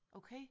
Okay